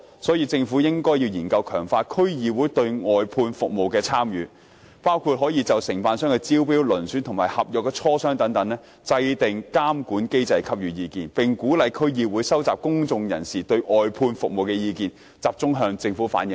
所以，政府應研究強化區議會在外判服務方面的參與，包括就承辦商的招標、遴選及磋商合約等制訂監管機制給予意見，並鼓勵區議會收集公眾對外判服務的意見，集中向政府反映。